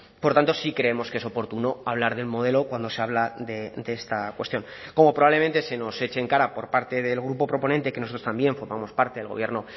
por tanto sí creemos que es oportuno hablar del modelo cuando se habla de esta cuestión como probablemente se nos eche en cara por parte del grupo proponente que nosotros también formamos parte del gobierno